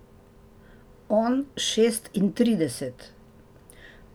On šestintrideset.